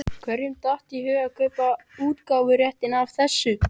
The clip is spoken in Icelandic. Hverjum datt í hug að kaupa útgáfuréttinn að þessu?